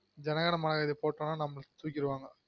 ஜன கன மன கதி போட்டம்னா நம்மல தூக்கிடுவாங்க